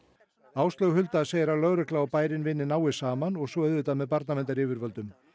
Áslaug Hulda segir að lögregla og bærinn vinni náið saman og svo auðvitað með barnaverndaryfirvöldum